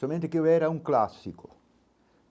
Somente que eu era um clássico.